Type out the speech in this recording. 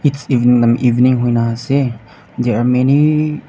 evening evening huina ase there are many .